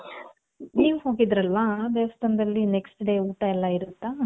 ನೀವ್ ಹೋಗಿದ್ರಲ್ವ ಆ ದೇವಸ್ಥಾನದಲ್ಲಿ next day ಊಟ ಎಲ್ಲಾ ಇರುತ್ತಾ?